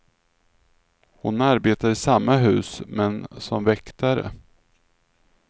Hon arbetar i samma hus, men som väktare.